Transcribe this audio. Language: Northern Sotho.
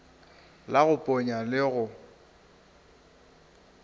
la go ponya le go